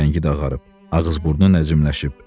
Rəngi də ağarıb, ağız-burnu nəcimləşib.